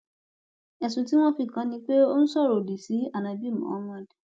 ẹsùn tí wọn fi kàn án ni pé ó sọrọ òdì sí ánábì muhammed